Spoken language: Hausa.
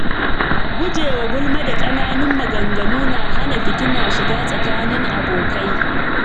Gujewa gulma da ƙananun maganganu na hana fitina shiga tsakanin abokai.